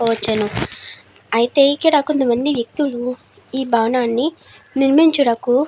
అయితే ఇక్కడ కొంత మంది వెక్తులు ఇ భావనని నిర్మించుటకు --